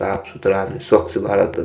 साफ़-सुथरा स्वक्छ भारत --